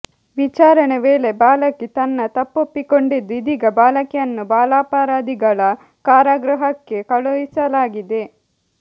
ವಿಚಾರಣೆ ವೇಳೆ ಬಾಲಕಿ ತನ್ನ ತಪ್ಪೊಪ್ಪಿಕೊಂಡಿದ್ದು ಇದೀಗ ಬಾಲಕಿಯನ್ನು ಬಾಲಾಪರಾಧಿಗಳ ಕಾರಾಗೃಹಕ್ಕೆ ಕಳುಹಿಸಲಾಗಿದೆ